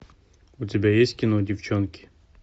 у тебя есть кино девчонки